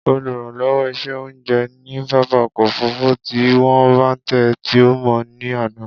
Oluranlowo iṣẹ ounjẹ ni pápá ọkọ ofurufu ti wọ bàntẹ́ ti o mọ ni ana.